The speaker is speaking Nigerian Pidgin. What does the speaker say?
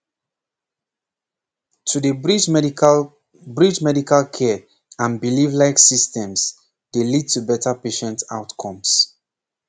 pause to dey bridge medical bridge medical care and belief like systems dey lead to better patient outcomes